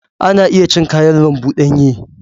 Ana iya cin kayan lambu danye.